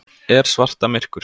Er svarta myrkur?